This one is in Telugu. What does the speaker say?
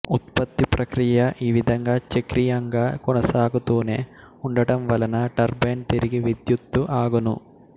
ఉత్పతి ప్రక్రియ ఈ విధంగా చక్రీయంగా కొనసాగుతూనే ఉండటంవలన టర్బైన్ తిరిగి విద్యుతు అగును